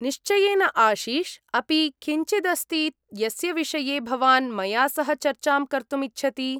निश्चयेन आशिष्! अपि किञ्चिदस्ति यस्य विषये भवान् मया सह चर्चां कर्तुम् इच्छति?